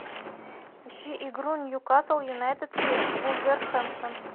ищи игру ньюкасл юнайтед и вулверхэмптон